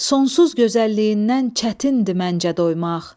Sonsuz gözəlliyindən çətindir məncə doymaq.